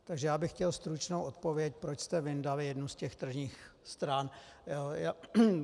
Takže já bych chtěl stručnou odpověď, proč jste vyndali jednu z těch tržních stran.